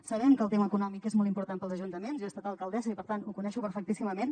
sabem que el tema econòmic és molt important pels ajuntaments jo he estat alcaldessa i per tant ho conec perfectíssimament